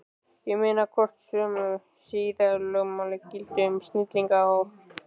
Ég meina, hvort sömu siðalögmál gildi um snillinga og